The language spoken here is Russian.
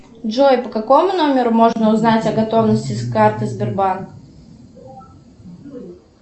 джой по какому номеру можно узнать о готовности карты сбербанк